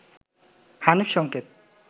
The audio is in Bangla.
হানিফ সংকেত